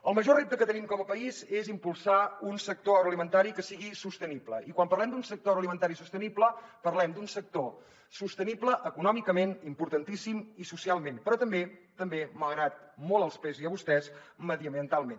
el major repte que tenim com a país és impulsar un sector agroalimentari que sigui sostenible i quan parlem d’un sector agroalimentari sostenible parlem d’un sector sostenible econòmicament importantíssim i socialment però també també malgrat molt els pesi a vostès mediambientalment